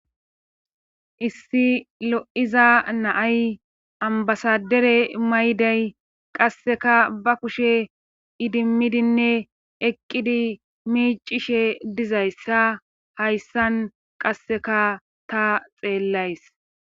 issi lo7iza na7ay ambbasadere mayiday qasseka ba kushe idimmidinne eqqidi miiccishe dizayssa hayssan qasseka ta xeellays.